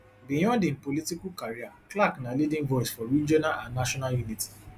beyond im political career clark na leading voice for regional and national unity